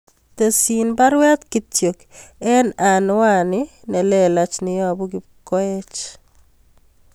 Tesyin baruet kityo en anwanit nelelach neyobu Kipkoech